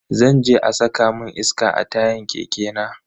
Zan je a saka mun iska a tayan keke na.